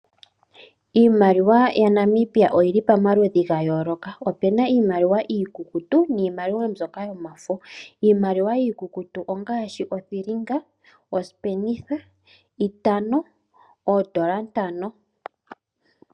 Iimaliwa ya Namibia oyi li pamaludhi ga yooloka, ope na iimaliwa iikukutu niimaliwa mbyoka yomafo. Iimaliwa iikukutu ongaashi othilinga, osipenitha, itano, oondola ntano.